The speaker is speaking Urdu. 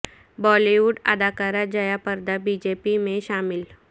بالی ووڈ اداکارہ Jaya Prada B J P میں شامل